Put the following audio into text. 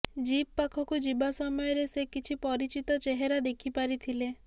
jeep ପାଖକୁ ଯିବା ସମୟରେ ସେ କିଛି ପରିଚିତ ଚେହେରା ଦେଖିପାରିଥିଲେ